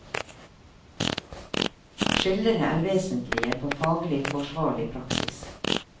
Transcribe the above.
Skillene er vesentlige for faglig forsvarlig praksis.